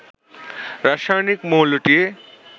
রাসায়নিক মৌলটি